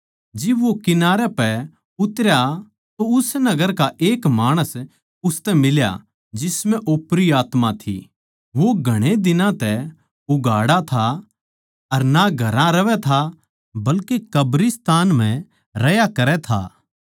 जिब वो किनारे पै उतरया तो उस नगर का एक माणस उसतै मिल्या जिसम्ह ओपरी आत्मा थी वो घणे दिनां तै उघाड़ा था अर ना घरां रहवैं था बल्के कब्रिस्तान म्ह रह्या करै था